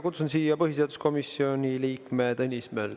Kutsun siia põhiseaduskomisjoni liikme Tõnis ...